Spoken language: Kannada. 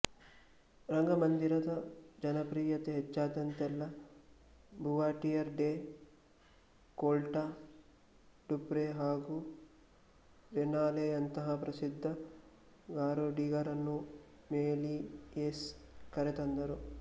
ರಂಗಮಂದಿರದ ಜನಪ್ರಿಯತೆ ಹೆಚ್ಚಾದಂತೆಲ್ಲಾ ಬುವಾಟಿಯರ್ ಡೆ ಕೊಲ್ಟ ಡುಪ್ರೆ ಹಾಗು ರೆನಾಲೆಯಂತಹ ಪ್ರಸಿದ್ಧ ಗಾರುಡಿಗರನ್ನು ಮೆಲಿಯೇಸ್ ಕರೆತಂದರು